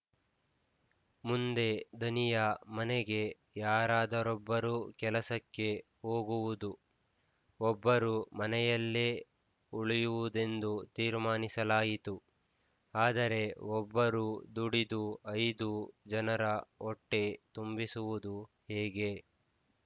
ಮುಂದೆ ಧನಿಯ ಮನೆಗೆ ಯಾರಾದರೊಬ್ಬರು ಕೆಲಸಕ್ಕೆ ಹೋಗುವುದು ಒಬ್ಬರು ಮನೆಯಲ್ಲೇ ಉಳಿಯುವುದೆಂದು ತೀರ್ಮಾನಿಸಲಾಯಿತು ಆದರೆ ಒಬ್ಬರು ದುಡಿದು ಐದು ಜನರ ಹೊಟ್ಟೆ ತುಂಬಿಸುವುದುವುದು ಹೇಗೆ